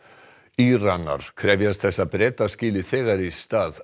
Íranar krefjast þess að Bretar skili þegar í stað